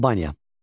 Albaniya.